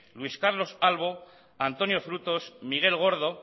luis carlos albo antonio frutos miguel gordo